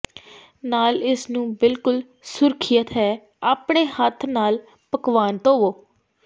ਨਾਲ ਇਸ ਨੂੰ ਬਿਲਕੁਲ ਸੁਰੱਖਿਅਤ ਹੈ ਆਪਣੇ ਹੱਥ ਨਾਲ ਪਕਵਾਨ ਧੋਵੋ